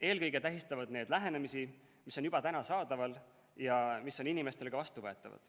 Eelkõige tähistavad need lahendusi, mis on juba saadaval ja mis on inimestele ka vastuvõetavad.